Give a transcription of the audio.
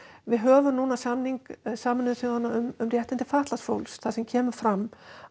við höfum núna samning Sameinuðu þjóðanna um réttindi fatlaðs fólks þar sem kemur fram